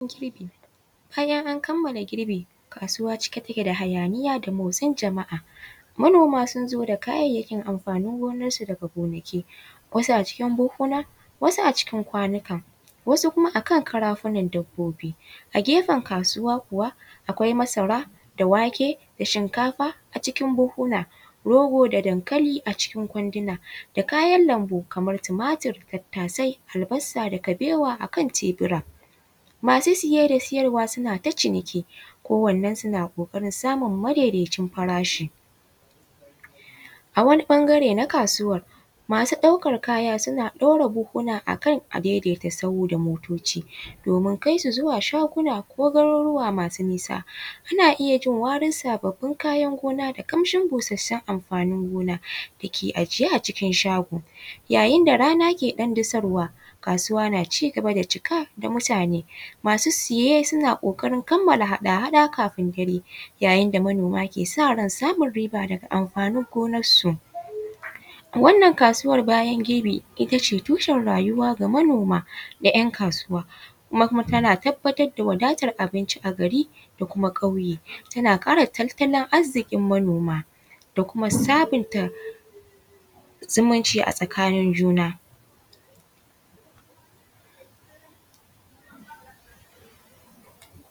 Girbi, bayan an kamala girbi kasuwa cike take da hayaniya da motsin jama’a, manoma sun zo da kayayyakin amfanin gonar su daga gonaki wasu a cikin buhuna wasu a cikin kwanuka wasu kuma akan karafunan dabbobi a gefen kasuwa kuwa akwai masara wake da shinkafa a cikin buhuna rogo da dankali a cikin kwanduna da kayan lambu kamar tumatur, tattasai, albasa, da kaɓewa a kan tebura, masu siye da siyarwa suna ta ciniki kowanan sun a kokarin samun madaidaicin farashi, a wani ɓangare na kasuwan masu ɗaukan kaya suna ɗaura buhuna akan a daidaita sahu da motoci domin kaisu zuwa shaguna ko garuruwa masu nisa ana iya jin warin sabbin kayan gona da kamshin busassun amfanin gona dake ajiye a cikin shago yayin da rana ke ɗan disarwa, kasuwa na shi gaba da cika da mutane masu siye na kokarin kamala hada-hada kafin dare yayin da manoma ke sa ran riba daga amfanin gonar su, a wannan kasuwan bayan girbi it ace tucen rayuwa ga manoma da ‘yan kasuwa kuma tana tabbatar da wadatan abinci a gari da kuma ƙaure tana kara tattalin arzikin manoma da kuma sabunta zumunci a tsakanin juna.